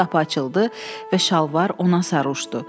Birdən qapı açıldı və şalvar ona sarışdı.